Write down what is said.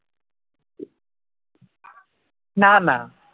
না না